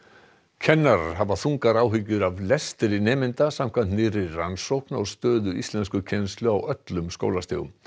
kennarar hafa þungar áhyggjur af lestri nemenda samkvæmt nýrri rannsókn á stöðu íslenskukennslu á öllum skólastigum